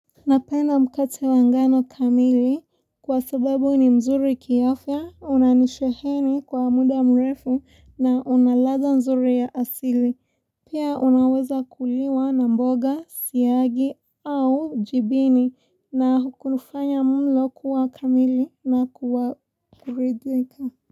Napenda mkate wa ngano kamili kwa sababu ni mzuri kiafya, unanisheheni kwa muda mrefu na una ladha mzuri ya asili. Pia unaweza kuliwa na mboga, siyagi au jibini na hukulifanya mlo kuwa kamili na kuwa kuridhika.